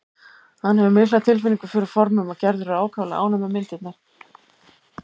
Hann hefur mikla tilfinningu fyrir formum og Gerður er ákaflega ánægð með myndirnar.